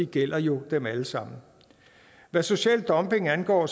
gælder jo dem alle sammen hvad social dumping angår